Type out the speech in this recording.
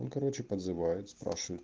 и короче подзывают спрашивают